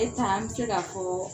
E taa an bɛ se ka fɔɔ